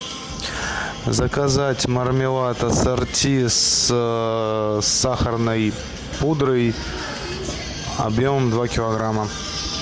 заказать мармелад ассорти с сахарной пудрой объемом два килограмма